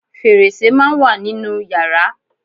Fẹ̀rẹsẹ́ máà ń wà nínú yàrá.